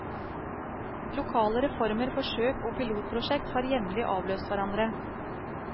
Lokale reformer, forsøk og pilotprosjekt har jevnlig avløst hverandre.